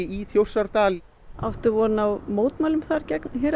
í Þjórsárdal áttu von á mótmælum þar gegn